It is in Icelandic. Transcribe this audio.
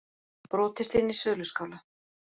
Brotist inn í söluskála